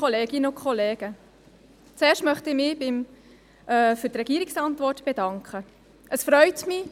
Es freut mich, dass der Regierungsrat die Motion annehmen, die wichtigen Anliegen analysieren und auch umsetzen will.